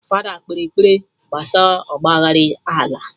Fada kpere ekpere gbasaa ọgba aghara ala